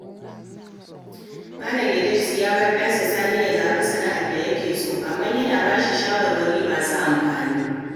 Malam Idris ya bar ɗansa Sani ya zaɓi sana'ar da yake so, amma yana ba shi shawarwari masu amfani.